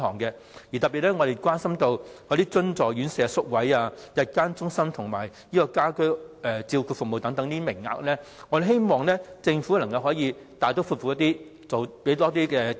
我們特別關心津助院舍宿位、日間中心及家居照顧服務等名額，我們希望政府可以大刀闊斧，投放更多資源。